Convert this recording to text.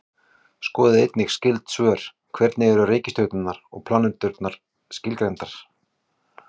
Skoðið einnig skyld svör: Hvernig eru reikistjörnur og plánetur skilgreindar?